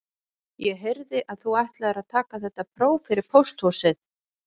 Ég heyrði að þú ætlaðir að taka þetta próf fyrir pósthúsið